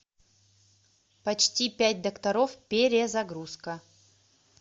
почти пять докторов перезагрузка